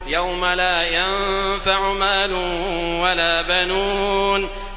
يَوْمَ لَا يَنفَعُ مَالٌ وَلَا بَنُونَ